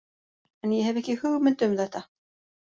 En ég hef ekki hugmynd um þetta.